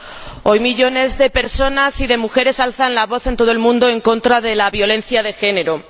Señor Presidente, hoy, millones de personas y de mujeres alzan la voz en todo el mundo en contra de la violencia de género.